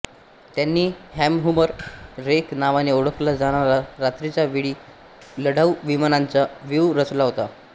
त्यांनी कॅमह्युबर रेघ नावाने ओळखला जाणारा रात्रीच्या वेळी लढाऊ विमानांचा व्यूह रचला होता